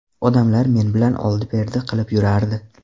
Odamlar men bilan oldi-berdi qilib yurardi.